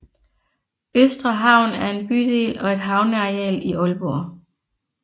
Østre Havn er en bydel og et havneareal i Aalborg